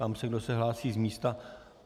Ptám se, kdo se hlásí z místa.